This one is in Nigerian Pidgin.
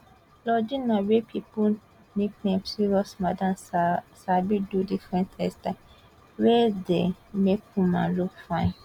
lordina wey pipo nickname serious madam sabi do different hairstyles wey dey make women look fine